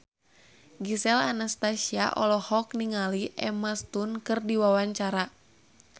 Gisel Anastasia olohok ningali Emma Stone keur diwawancara